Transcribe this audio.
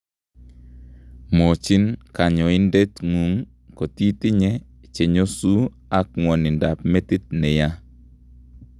Mwochin kanyoindetngung' kotitinye chenyosu ak ng'wonindab metit neyaa